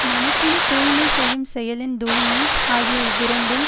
மனத்தின் தூய்மை செய்யும் செயலின் தூய்மை ஆகிய இவ்விரண்டும்